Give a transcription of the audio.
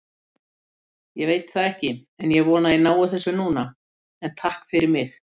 Ég veit það ekki, ég vona að ég nái þessu núna, en takk fyrir mig.